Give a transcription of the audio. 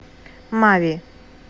мави